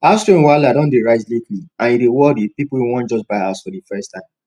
house rent wahala don dey rise lately and e dey worry people wey just wan buy house for the first time